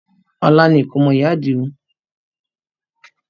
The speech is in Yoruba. Ọ̀la ni ìkómọ ìyá Àdìó